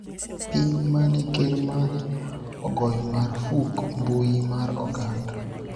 piny mane ker mare ogoyo marfuk mbui mar oganda